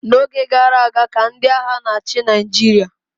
n'oge gara aga ka ndị agha na-achị Naịjirịa